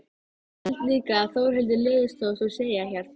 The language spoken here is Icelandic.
Held líka að Þórhildi leiðist þótt hún segi ekkert.